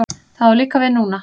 Það á líka við núna.